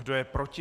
Kdo je proti?